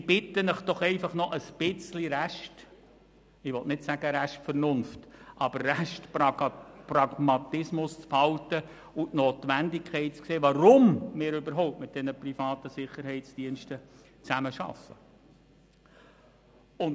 Ich bitte Sie einfach, noch ein wenig Restpragmatismus, ich will nicht sagen Restvernunft, zu behalten und die Notwendigkeit zu sehen, weshalb wir überhaupt mit diesen privaten Sicherheitsdiensten zusammenarbeiten.